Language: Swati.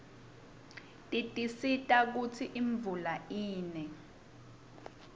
tisisita kutsi imvula ine